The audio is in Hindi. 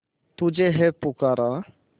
तुझे है पुकारा